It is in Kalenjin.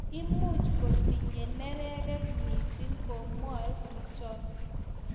Much ko kitinye neregek mising komwae kuchot